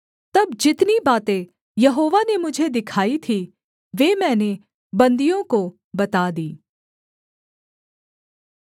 तब जितनी बातें यहोवा ने मुझे दिखाई थीं वे मैंने बन्दियों को बता दीं